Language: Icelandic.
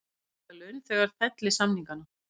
Vilja að launþegar felli samningana